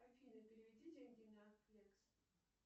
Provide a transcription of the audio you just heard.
афина переведи деньги на флекс